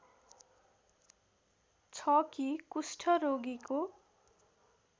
छ कि कुष्ठरोगीको